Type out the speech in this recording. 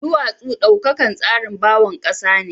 Duwatsu daukakan tsarin bawon kasa ne.